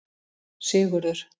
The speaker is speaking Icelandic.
Sigurður